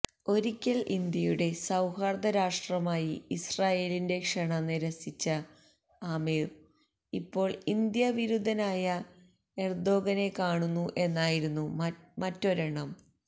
ഒരിക്കൽ ഇന്ത്യയുടെ സൌഹാർദ്ദ രാഷ്ട്രമായി ഇസ്രയേലിന്റെ ക്ഷണം നിരസിച്ച ആമിർ ഇപ്പോൾ ഇന്ത്യാ വിരുദ്ധനായ എർദോഗനെ കാണുന്നു എന്നായിരുന്നു മറ്റൊരെണ്ണം